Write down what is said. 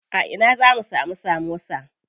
A ina zamu samu samosa?